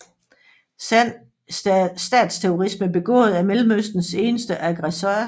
Sand statsterrorisme begået af Mellemøstens eneste aggressor